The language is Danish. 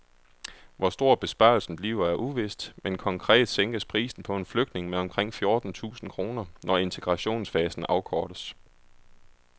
Hvor stor besparelsen bliver er uvist, men konkret sænkes prisen på en flygtning med omkring fjorten tusind kroner, når integrationsfasen afkortes.